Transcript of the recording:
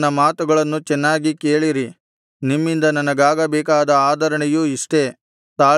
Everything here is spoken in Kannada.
ನನ್ನ ಮಾತುಗಳನ್ನು ಚೆನ್ನಾಗಿ ಕೇಳಿರಿ ನಿಮ್ಮಿಂದ ನನಗಾಗಬೇಕಾದ ಆದರಣೆಯು ಇಷ್ಟೇ